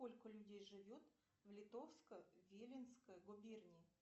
сколько людей живет в литовско виленской губернии